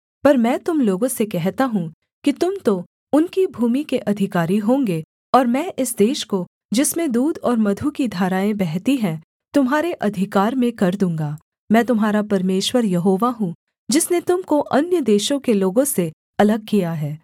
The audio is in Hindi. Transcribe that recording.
पर मैं तुम लोगों से कहता हूँ कि तुम तो उनकी भूमि के अधिकारी होंगे और मैं इस देश को जिसमें दूध और मधु की धाराएँ बहती हैं तुम्हारे अधिकार में कर दूँगा मैं तुम्हारा परमेश्वर यहोवा हूँ जिसने तुम को अन्य देशों के लोगों से अलग किया है